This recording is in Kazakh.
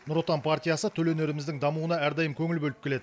нұр отан партиясы төл өнеріміздің дамуына әрдайым көңіл бөліп келеді